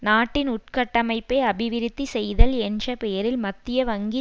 நாட்டின் உட்கட்டமைப்பை அபிவிருத்தி செய்தல் என்ற பெயரில் மத்திய வங்கி